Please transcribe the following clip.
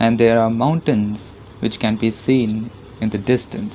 And there are mountains which can be seen in the distance.